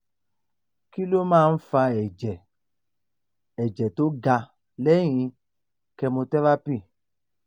kí ló máa ń fa ẹ̀jẹ̀ ẹ̀jẹ̀ tó ga lẹ́yìn chemotherapy